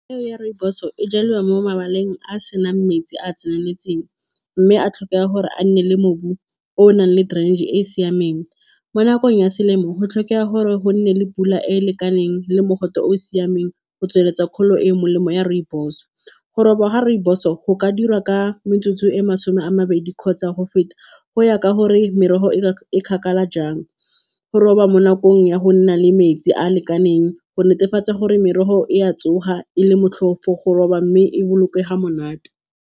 Peo ya rooibos-o e jalwa mo mabaleng a a senang metsi a a tseneletseng, mme a tlhokega gore a nne le mobu o o nang le trench-e e e siameng. Mo nakong ya selemo go tlhokega gore go nne le pula e e lekaneng le mogote o o siameng go tsweletsa kgolo e e molemo ya rooibos-o. Go roba ga rooibos-o go ka diriwa ka metsotso e e masome a mabedi kgotsa go feta, go ya ka gore merogo e e kgakala jang. Go roba mo nakong ya go nna le metsi a a lekaneng go netefatsa gore merogo e a tsoga e le motlhofo go roba, mme e bolokega monate.